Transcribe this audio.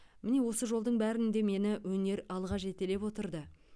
міне осы жолдың бәрінде мені өнер алға жетелеп отырды